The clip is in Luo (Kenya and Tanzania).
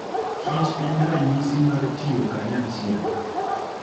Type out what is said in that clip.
Kich en ranyisi mar tiyo kanyachiel.